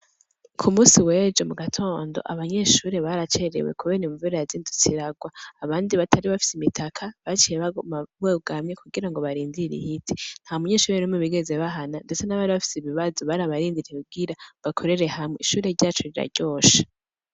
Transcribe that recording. Kumunsi wejo abanyeshuri baracerewe kubera imvura yazindutse iragwa abatari bafise imitaka baciye baguma bugamye kugira babanze barindire ihite nta munyeshure bigeze bahana ndetse nabari bafise ibibazo barabarindiriye kugira bakorere hamwe ishuri ryacu rira ryoshe.